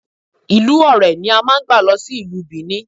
Ìlú Ọ̀rẹ̀ ni a máà ń gbà lọ sí ìlú Bìní